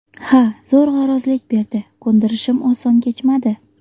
Ha, zo‘rg‘a rozilik berdi, ko‘ndirishim oson kechmadi.